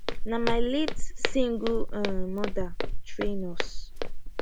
na my late single um mother train us